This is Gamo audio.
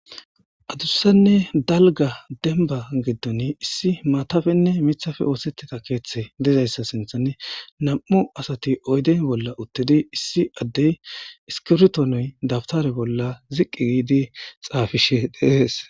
Adusanne dalga denba giddon issi maatafenne mithafe oosettita keeththe dizayssa sinthane nam7u asati oyden bolla uttidi issi addey iskirtonoy dabtare bolla ziqqi giidi xaafishe de7ees.